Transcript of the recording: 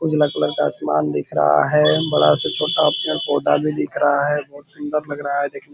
उजला कलर का आसमान दिख रहा है। बड़ा सा छोटा पेड़-पौधा भी दिख रहा है। बहुत सुंदर लग रहा है दिखने --